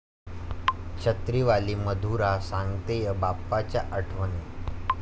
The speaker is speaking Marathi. छत्रीवाली मधुरा सांगतेय बाप्पाच्या आठवणी